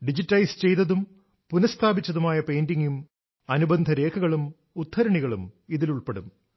digitalise ചെയ്തതും പുന സ്ഥാപിച്ചതുമായ പെയിന്റിംഗും അനുബന്ധ രേഖകളും ഉദ്ധരണികളും ഇതിൽ ഉൾപ്പെടും